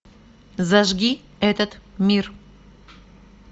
зажги этот мир